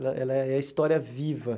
Ela ela é a história viva.